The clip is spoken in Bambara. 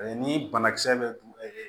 Ni banakisɛ bɛ don e